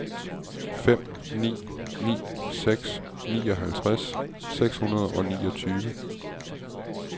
fem ni ni seks nioghalvtreds seks hundrede og niogtyve